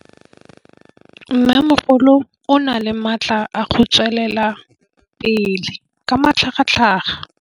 Mmêmogolo o na le matla a go tswelela pele ka matlhagatlhaga.